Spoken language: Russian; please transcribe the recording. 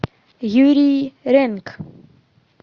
юрий ренк